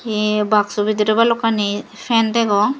ei baksu bidirey balokkani fan degong.